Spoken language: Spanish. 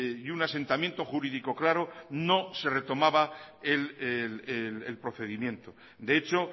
y un asentamiento jurídico claro no se retomaba el procedimiento de hecho